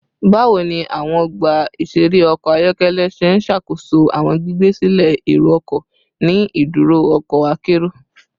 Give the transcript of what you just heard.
Bawo ni awọn ọgba iṣere ọkọ ayọkẹlẹ ṣe n ṣakoso awọn gbigbe silẹ ero-ọkọ ni iduro ọkọ akero?